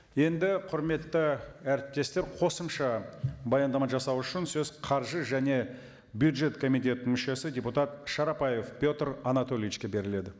енді құрметті әріптестер қосымша баяндама жасау үшін сөз қаржы және бюджет комитетінің мүшесі депутат шарапаев петр анатольевичке беріледі